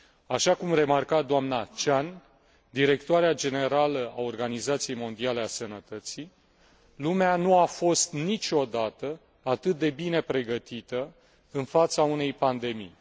Așa cum remarca doamna Chan, directoarea generală a Organizației Mondiale a Sănătății, lumea nu a fost niciodată atât de bine pregătită în fața unei pandemii.